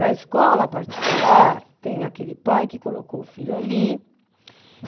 Na escola particular, tem aquele pai que colocou o filho ali